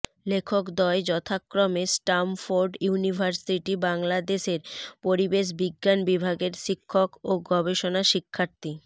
লেখকদ্বয় যথাক্রমে Stamford university বাংলাদেশের পরিবেশ বিজ্ঞান বিভাগের শিক্ষক ও গবেষণা শিক্ষার্থী